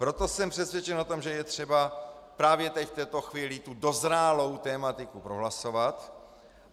Proto jsem přesvědčen o tom, že je třeba právě teď, v tuto chvíli, tu dozrálou tematiku prohlasovat.